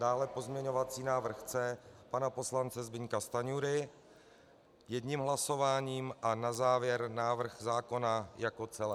Dále pozměňovací návrh C pana poslance Zbyňka Stanjury jedním hlasováním a na závěr návrh zákona jako celek.